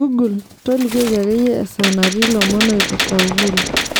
google tolikioki akeye esaa natii lomon oipirta uhuru